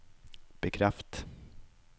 bekreft